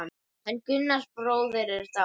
Hann Gunnar bróðir er dáinn.